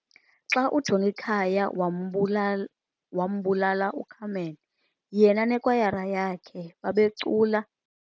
Xa uJongikhaya wambulala uCarmen, yena nekwayara yakhe babecula.